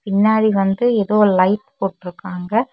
பின்னாடி வந்து ஏதோ லைட் போட்டுருக்காகங்க.